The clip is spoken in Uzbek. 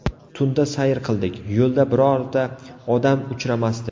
Tunda sayr qildik, yo‘lda birorta odam uchramasdi.